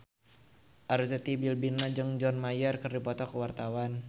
Arzetti Bilbina jeung John Mayer keur dipoto ku wartawan